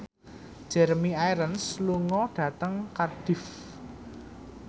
Jeremy Irons lunga dhateng Cardiff